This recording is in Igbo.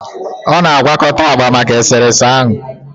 Ọ na-agwakọta agba maka eserese ahụ